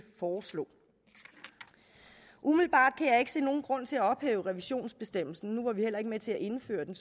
foreslå umiddelbart kan jeg ikke se nogen grund til at ophæve revisionsbestemmelsen nu var vi heller ikke med til at indføre den